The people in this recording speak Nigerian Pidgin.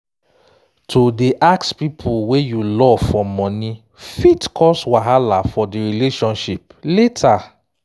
to dey ask people wey you love for money fit cause wahala for the relationship later